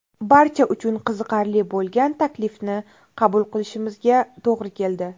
Barcha uchun qiziqarli bo‘lgan taklifni qabul qilishimizga to‘g‘ri keldi.